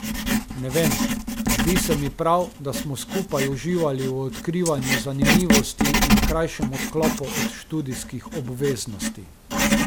Ne vem, zdi se mi prav, da smo skupaj uživali v odkrivanju zanimivosti in krajšem odklopu od študijskih obveznosti.